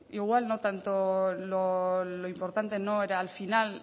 igual lo importante no era el final